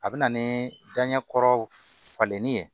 A bɛ na ni daɲɛkɔrɔw falenni ye